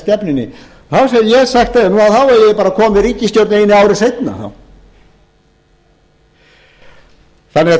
stefnunni það sem ég hef sagt við þá þá eigið þið bara að koma eð ríkisstjórn einu ári seinna þegar við